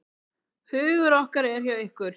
Hugur okkar er hjá ykkur.